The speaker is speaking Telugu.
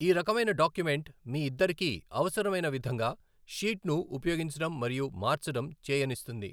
ఈ రకమైన డాక్యుమెంట్ మీ ఇద్దరికీ అవసరమైన విధంగా షీట్ను ఉపయోగించడం మరియు మార్చడం చేయనిస్తుంది.